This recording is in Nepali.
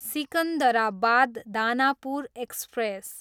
सिकन्दराबाद, दानापुर एक्सप्रेस